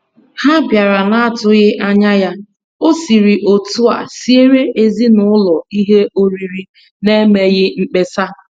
Ha bịara n'atụghị anya ya, ọ siri otu a siere ezinaụlọ ihe oriri n'emeghị mkpesa.